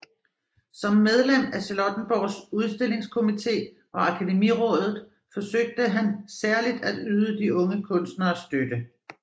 Som medlem af Charlottenborgs Udstillingskomite og Akademirådet forsøgte han særligt at yde de unge kunstnere støtte